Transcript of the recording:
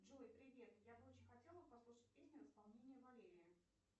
джой привет я бы очень хотела послушать песню в исполнении валерии